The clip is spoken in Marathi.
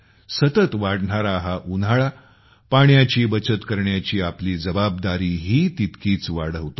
सतत वाढणाराहा उन्हाळा पाण्याची बचत करण्याची आपली जबाबदारीही तितकीच वाढवतो